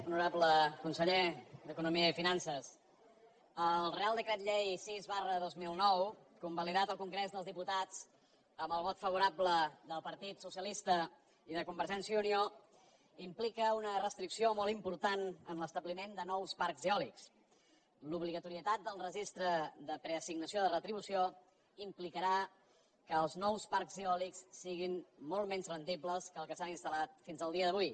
honorable conseller d’economia i finances el reial decret llei sis dos mil nou convalidat al congrés dels diputats amb el vot favorable del partit socialista i de convergència i unió implica una restricció molt important en l’establiment de nous parcs eòlics l’obligatorietat del registre de preassignació de retribució implicarà que els nous parcs eòlics siguin molt menys rendibles que els que s’han instal·lat fins al dia d’avui